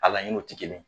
A laɲiniw tɛ kelen ye